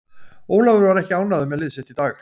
Ólafur var ekki ánægður með lið sitt í dag.